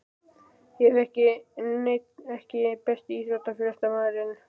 Ég hef ekki neinn EKKI besti íþróttafréttamaðurinn?